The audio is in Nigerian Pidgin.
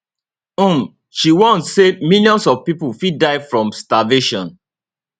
um she warn say millions of pipo fit die from starvation